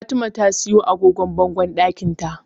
Fatima ta siyo agogon bangon ɗakinta.